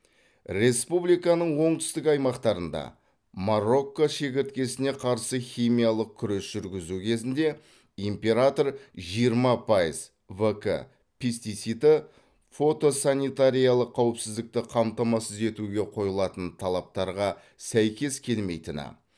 республиканың оңтүстік аймақтарында марокко шегірткесіне қарсы химиялық күрес жүргізу кезінде император жиырма пайыз в к пестициді фотосанитариялық қауіпсіздікті қамтамасыз етуге қойылатын талаптарға сәйкес келмейтіні